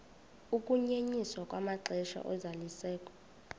ukunyenyiswa kwamaxesha ozalisekiso